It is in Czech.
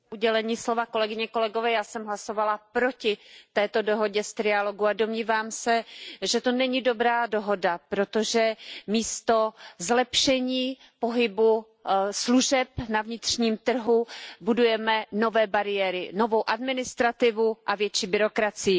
Pane předsedající, já jsem hlasovala proti této dohodě z trialogu a domnívám se, že to není dobrá dohoda, protože místo zlepšení pohybu služeb na vnitřním trhu budujeme nové bariéry, novou administrativu a větší byrokracii.